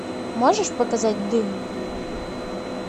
можешь показать дым